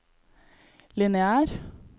lineær